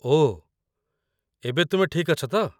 ଓଃ, ଏବେ ତୁମେ ଠିକ୍ ଅଛ ତ?